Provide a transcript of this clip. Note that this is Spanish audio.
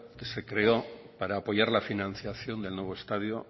que se creó para apoyar la financiación del nuevo estadio